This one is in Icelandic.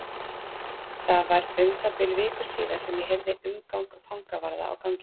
Það var um það bil viku síðar sem ég heyrði umgang fangavarða á ganginum.